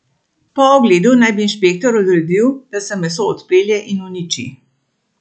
Po ogledu naj bi inšpektor odredil, da se meso odpelje in uniči.